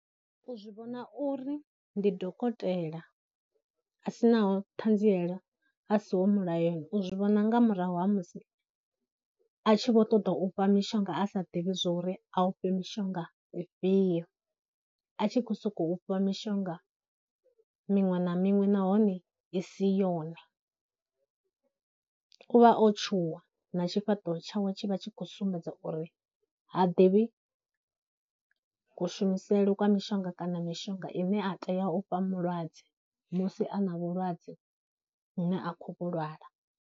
U zwi vhona uri ndi dokotela a sinaho ṱhanziela, a siho mulayoni u zwi vhona nga murahu ha musi a tshi vho ṱoḓa u fha mishonga a sa ḓivhi zwauri a u fhe mishonga ifhio, a tshi khou sokou fha mishonga miṅwe na miṅwe nahone i si yone, u vha o tshuwa na tshifhaṱuwo tshawe tshi vha tshi khou sumbedza u uri ha ḓivhi kushumisele kwa mishonga kana mishonga ine a tea u fha mulwadze musi a na vhulwadze vhune a khou vhu lwala.